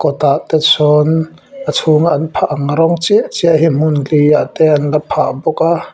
tah te sawn a chhung a an phah ang rawng chiah chiah hi hmun li ah te an la phah bawk a.